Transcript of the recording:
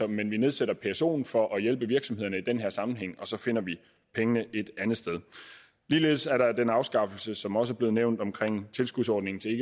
men vi nedsætter psoen for at hjælpe virksomhederne i den her sammenhæng og så finder vi pengene et andet sted ligeledes er der den afskaffelse som også er blevet nævnt af tilskudsordningen til